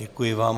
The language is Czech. Děkuji vám.